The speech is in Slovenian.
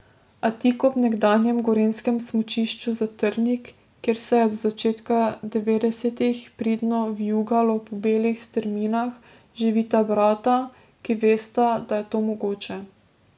A tik ob nekdanjem gorenjskem smučišču Zatrnik, kjer se je do začetka devetdesetih pridno vijugalo po belih strminah, živita brata, ki vesta, da je to mogoče.